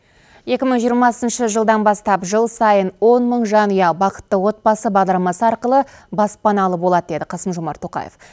екі мың жиырмасыншы жылдан бастап жыл сайын он мың жанұя бақытты отбасы бағдарламасы арқылы баспаналы болады деді қасым жомарт тоқаев